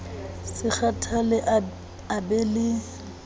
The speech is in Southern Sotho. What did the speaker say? se kgathale a be le